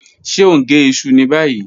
Ṣe o n ge iṣu ni bayi?